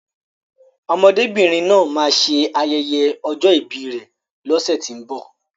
Ọmọdébìnrin náà máa ṣe ayẹyẹ ọjọ́ ìbi rè lọ́sẹ̀tínbọ̀.